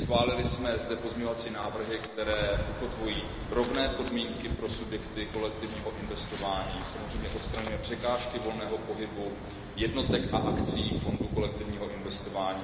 Schválili jsme zde pozměňovací návrhy, které ukotvují rovné podmínky pro subjekty kolektivního investování, samozřejmě se odstraňují překážky volného pohybu jednotek a akcí fondu kolektivního investování.